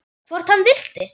Hvort hann vildi!